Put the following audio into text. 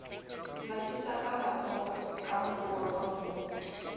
mathisaka matshoho ka mokokotlong ho